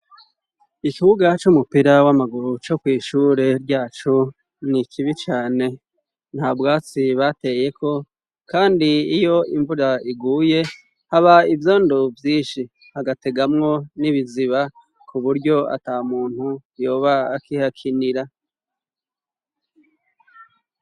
Ikibuga c'umupira w'amaguru co kw'ishure ryacu nikibi cane. Nta bwatsi bateye ko kandi iyo imvura iguye haba ivyondo vyinshi hagategamwo n'ibiziba ku buryo ata muntu yoba akihakinira.